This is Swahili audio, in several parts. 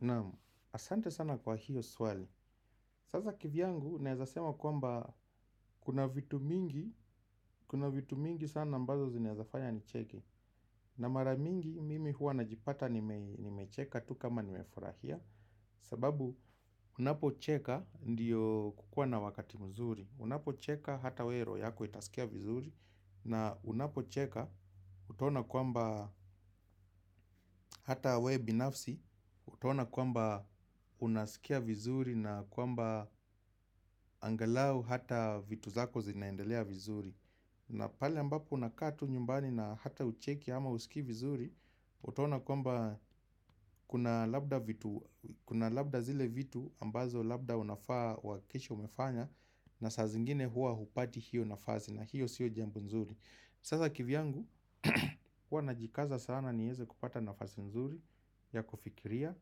Naam, ahsante sana kwa hiyo swali. Sasa kivyangu naweza sema kwamba kuna vitu mingi. Kuna vitu mingi sana ambazo zinaezafanya nicheke. Na maramingi mimi hua najipata nimecheka tu kama ni meforahia. Sababu unapocheka ndiyo kukua na wakati mzuri. Unapocheka hata wewe roho yako itasikia vizuri. Na unapocheka utaona kwamba hata we binafsi utaona kwamba unasikia vizuri na kwamba angalau hata vitu zako zinaendelea vizuri. Na pale ambapo unakaa tu nyumbani na hata hucheki ama husikii vizuri. Utaona kwamba kuna labda vitu kuna labda zile vitu ambazo labda unafaa uhakikishe umefanya. Na saa zingine hua hupati hiyo nafasi na hiyo siyo jambo nzuri. Sasa kivyangu hua najikaza sana niweze kupata nafasi nzuri ya kufikiria.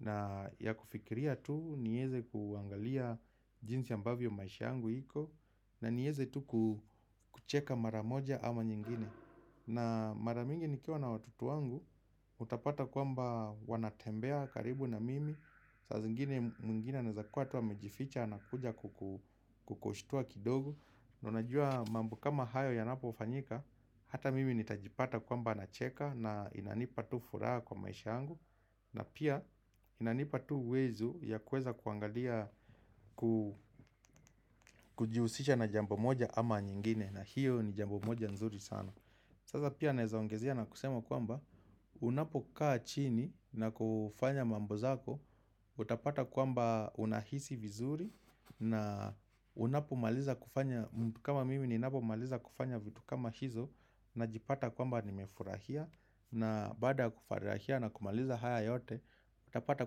Na ya kufikiria tu. Nieze kuangalia jinsi ambavyo maisha yangu iko. Na nieze tu kucheka maramoja ama nyingine. Na mara mingi nikiwa na watoto wangu. Utapata kwamba wanatembea karibu na mimi. Saa zingine mwingine anaeza kuwa tu amejificha. Na kuja kukushtua kidogo. Na unajua mambo kama hayo yanapofanyika. Hata mimi nitajipata kwamba nacheka. Na inanipa tu furaha kwa maisha yangu. Na pia inanipa tu uwezo ya kuweza kuangalia kujihusisha na jambo moja ama nyingine. Na hiyo ni jambo moja nzuri sana. Sasa pia naeza ongezea na kusema kwamba unapokaa chini na kufanya mambo zako utapata kwamba unahisi vizuri. Na unapo maliza kufanya kama mimi ninapomaliza kufanya vitu kama hizo. Najipata kwamba nimefurahia. Na baada kufurahia na kumaliza haya yote. Utapata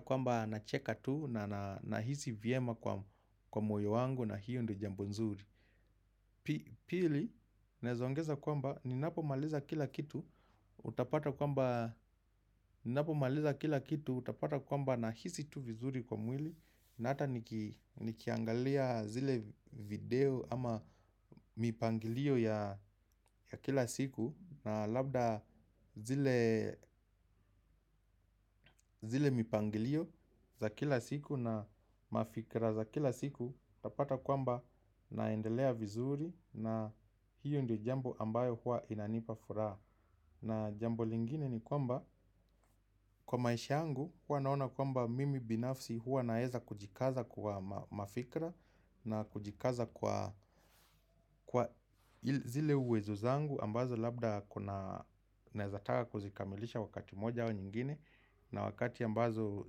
kwamba nacheka tu na na nahisi vyema kwa moyo wangu na hiyo ndio jambo nzuri. Pili, naeza ongeza kwamba ninapomaliza kila kitu utapata kwamba nahisi tu vizuri kwa mwili. Na ata nikiangalia zile video ama mipangilio ya kila siku. Na labda zile mipangilio za kila siku na mafikra za kila siku utapata kwamba naendelea vizuri na hiyo ndio jambo ambayo huwa inanipa furaha. Na jambo lingine ni kwamba kwa maisha yangu huwa naona kwamba mimi binafsi hua naeza kujikaza kwa mafikra na kujikaza kwa zile uwezo zangu ambazo labda kuna naezataka kuzikamilisha wakati moja au nyingine na wakati ambazo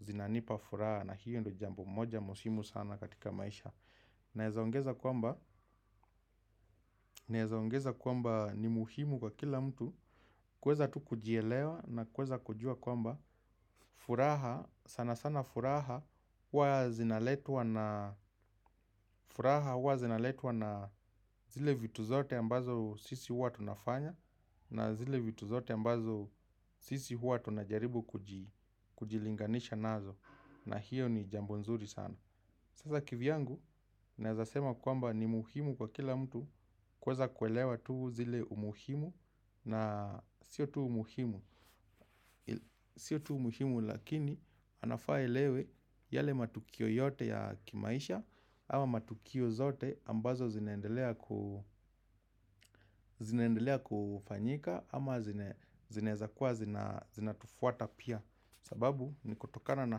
zinanipa furaha na hiyo ndio jambo moja muhimu sana katika maisha naeza ongeza kwamba ni muhimu kwa kila mtu kuweza tu kujielewa na kuweza kujua kwamba furaha, sana sana furaha, hua zinaletwa na furaha, huwa zinaletwa na zile vitu zote ambazo sisi huwa tunafanya na zile vitu zote ambazo sisi huwa tunajaribu kujilinganisha nazo na hiyo ni jambo nzuri sana. Sasa kivyangu, naeza sema kwamba ni muhimu kwa kila mtu kuweza kuelewa tu zile umuhimu na siyo tu umuhimu. Sio tu umuhimu lakini anafaa aelewe yale matukio yote ya kimaisha. Ama matukio zote ambazo zinaendelea kufanyika ama zinaeza kuwa zinatufuata pia. Sababu ni kutokana na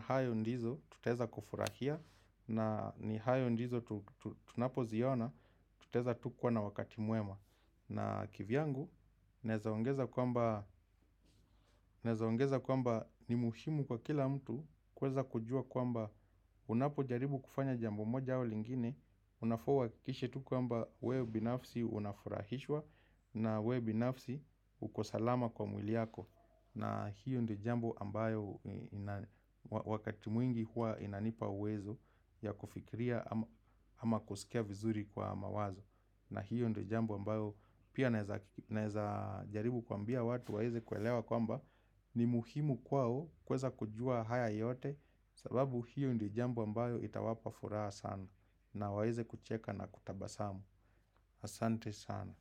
hayo ndizo tutaweza kufurahia. Na ni hayo ndizo tunapoziona tutaweza tu kuwa na wakati mwema. Na kivyangu, naeza ongeza kwamba ni muhimu kwa kila mtu kuweza kujua kwamba unapojaribu kufanya jambo moja au lingine. Unafaa uhakikishe tu kwamba wewe binafsi unafurahishwa na we binafsi uko salama kwa mwili yako. Na hiyo ndio jambo ambayo wakati mwingi huwa inanipa uwezo ya kufikiria ama kusikia vizuri kwa mawazo. Na hiyo ndio jambo ambayo pia naeza jaribu kwambia watu waeze kuelewa kwamba ni muhimu kwao kuweza kujua haya yote sababu hiyo ndio jambo ambayo itawapa furaha sana na waeze kucheka na kutabasamu. Asante sana.